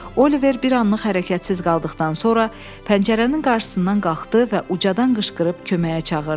Oliver bir anlıq hərəkətsiz qaldıqdan sonra pəncərənin qarşısından qalxdı və ucadan qışqırıb köməyə çağırdı.